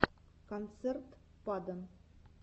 концерт падон